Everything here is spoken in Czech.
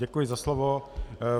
Děkuji za slovo.